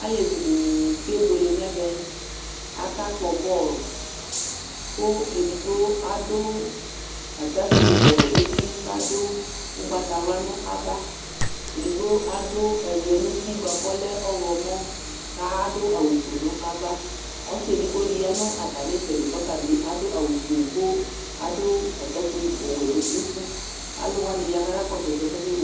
Alevi dɩnɩ kenuele n'ɛvɛ Aka kpɔ bɔl kʋ edigbo adʋ stakpui ɔwɛ n'uti, k'adʋ ʋgbatawla nʋ ava Edigbo adʋ ɛlɛn'uti bʋa kʋ ɔlɛ ɔɣlɔmɔ ka adʋ awʋ fue nʋ ava Ɔsɩ edigbo dɩ ya nʋ atam'ɩtsɛdɩ k'ɔta bɩ adʋ awʋ fue kʋ adʋ atakpi ɔwɛ nʋ uti Alʋwanɩ ya kaka kɔsʋ ɛsɛ k'akewle